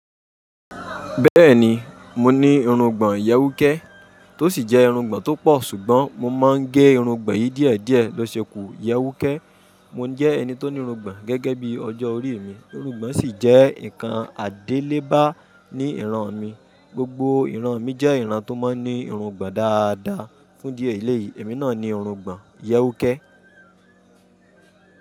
Bẹ́ẹ̀ni, mo ní irungbọ̀n ìyẹ́wúkẹ́ tó sì jẹ́ irungbọ̀n tó pọ̀, ṣùgbọ́n mo máa ń gé irungbọ̀n yìí díẹ̀díẹ̀ lọ ṣekù yẹ́wúkẹ́. Mò ń jẹ́ ẹni tó ní irungbọ̀n gẹ́gẹ́ bí ọjọ́ orí mi. Irungbọ̀n sì jẹ́ ǹkan àdélébá ní ìran mi. Gbogbo ìran mi jẹ́ ìran tó máa ń ní irungbọ̀n dáadáa. Fún dí ẹ̀léyì, èmi náà ní irungbọ̀n yẹ́wúkẹ́.